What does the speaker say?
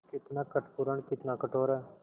कितना कपटपूर्ण कितना कठोर है